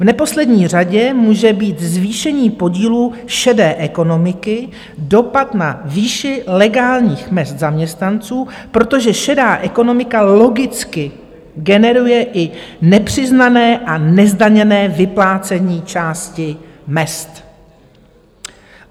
V neposlední řadě může mít zvýšení podílu šedé ekonomiky dopad na výši legálních mezd zaměstnanců, protože šedá ekonomika logicky generuje i nepřiznané a nezdaněné vyplácení části mezd.